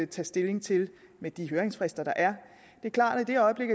tage stilling til med de høringsfrister der er det er klart at i det øjeblik